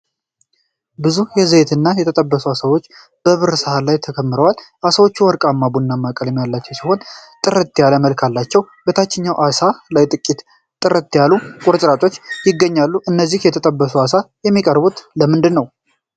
ብዙ በዘይት የተጠበሱ ዓሳዎች በብር ሳህን ላይ ተከምረዋል። ዓሳዎቹ ወርቃማ ቡናማ ቀለም ያላቸው ሲሆን ጥርት ያለ መልክ አላቸው። በታችኛው ዓሳ ላይ ጥቂት ጥርት ያሉ ቁርጥራጮች ይገኛሉ። እነዚህ የተጠበሱ ዓሳዎች የሚቀርቡት ለምንድነው?